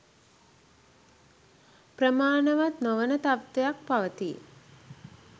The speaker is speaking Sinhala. ප්‍රමාණවත් නොවන තත්ත්වයක් පවතී